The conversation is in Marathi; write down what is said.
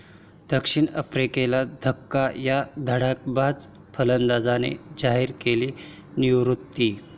दक्षिण आफ्रिकेला धक्का, या धडाकेबाज फलंदाजाने जाहीर केली निवृत्ती